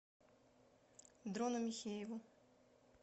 дрону михееву